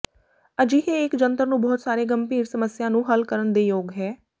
ਅਜਿਹੇ ਇੱਕ ਜੰਤਰ ਨੂੰ ਬਹੁਤ ਸਾਰੇ ਗੰਭੀਰ ਸਮੱਸਿਆ ਨੂੰ ਹੱਲ ਕਰਨ ਦੇ ਯੋਗ ਹੈ